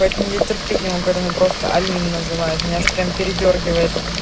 поэтому я терпеть не могу когда меня просто алина называют меня аж прямо передёргивает